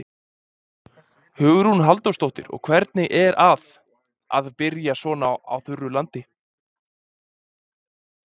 Hugrún Halldórsdóttir: Og hvernig er að, að byrja svona á þurru landi?